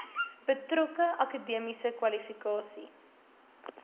betrokke akademiese kwalifikasies